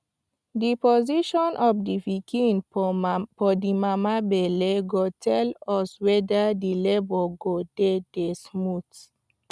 the position of the pikin for mama for the mama belle go tell us weder the labour go dey dey smooth